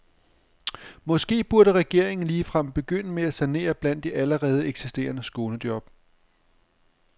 Måske burde regeringen ligefrem begynde med at sanere blandt de allerede eksisterende skånejob.